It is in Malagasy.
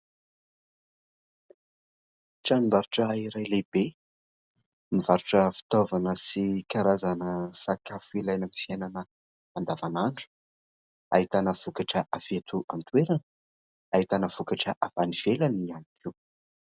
Tranombarotra iray lehibe, mivarotra fitaovana sy karazana sakafo ilaina amin'ny fiainana andavanandro. Ahitana vokatra avy eto an-toerana, ahitana vokatra avy any ivelany ihany koa.